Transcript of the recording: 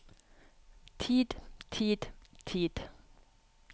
tid tid tid